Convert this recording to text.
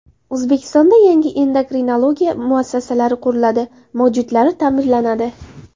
O‘zbekistonda yangi endokrinologiya muassasalari quriladi, mavjudlari ta’mirlanadi.